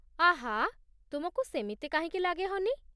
ଆଃ, ତୁମକୁ ସେମିତି କାହିଁକି ଲାଗେ, ହନି?